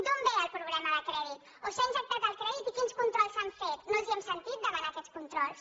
d’on ve el problema de crèdit o s’ha injectat el crèdit i quins controls s’han fet no els hem sentit demanar aquests controls